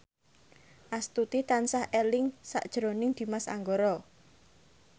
Astuti tansah eling sakjroning Dimas Anggara